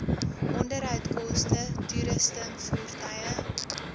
onderhoudkoste toerusting voertuie